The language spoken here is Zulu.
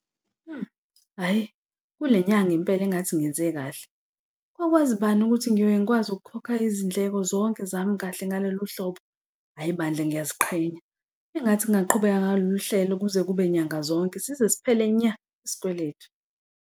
Hhayi, kule nyanga impela engathi ngenze kahle kwakwazi bani ukuthi ngiyoke ngikwazi ukukhokha izindleko zonke zami kahle ngalolu hlobo. Hhayi bandla, ngiyaziqhenya engathi ngingaqhubeka ngalolu hlelo kuze kube nyanga zonke size ziphele nya isikweletu.